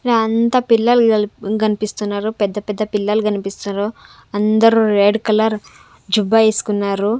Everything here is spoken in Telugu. ఈడ అంతా పిల్లలు గల్పి-- గనిపిస్తున్నారు పెద్ద పెద్ద పిల్లలు గనిపిస్తున్నారు అందరూ రెడ్ కలర్ జుబ్బా ఏసుకున్నారు.